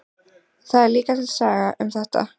Það er líka til saga um þetta.